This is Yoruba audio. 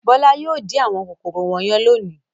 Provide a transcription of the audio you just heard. Bọ́lá yóò wá dín àwọn kòkòrò wọ̀nyẹn lónìí.